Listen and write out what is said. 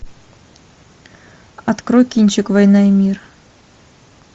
открой кинчик война и мир